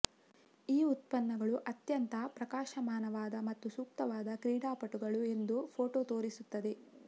ಈ ಉತ್ಪನ್ನಗಳು ಅತ್ಯಂತ ಪ್ರಕಾಶಮಾನವಾದ ಮತ್ತು ಸೂಕ್ತವಾದ ಕ್ರೀಡಾಪಟುಗಳು ಎಂದು ಫೋಟೋ ತೋರಿಸುತ್ತದೆ